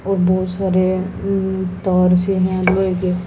और बहुत सारे तार से है लोहे के--